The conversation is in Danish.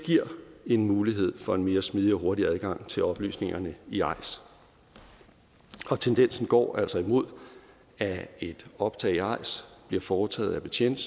giver en mulighed for en mere smidig og hurtig adgang til oplysningerne i eis og tendensen går altså imod at et opslag i eis bliver foretaget af betjente